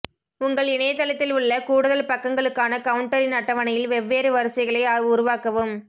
உங்கள் இணையதளத்தில் உள்ள கூடுதல் பக்கங்களுக்கான கவுண்டரின் அட்டவணையில் வெவ்வேறு வரிசைகளை உருவாக்கவும்